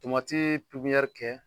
Tomati pepiniyɛri kɛ.